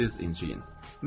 İncirsiniz, inciyin.